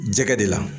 Jɛgɛ de la